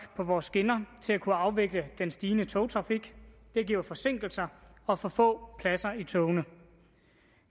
på vores skinner til at kunne afvikle den stigende togtrafik det giver forsinkelser og for få pladser i togene